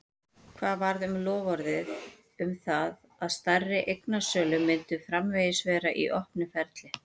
Hvað varð um loforðið um það að stærri eignasölur myndu framvegis vera í opnu ferli?